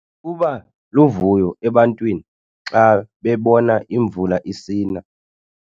Kuba luvuyo ebantwini xa bebona imvula isina